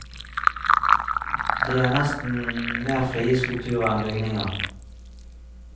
De er nesten mer frie skulpturer enn bygninger.